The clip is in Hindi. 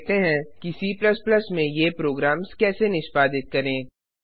अब देखते हैं कि C में ये प्रोग्राम्स कैसे निष्पादित करें